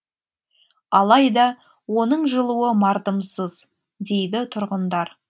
алайда оның жылуы мардымсыз дейді тұрғындар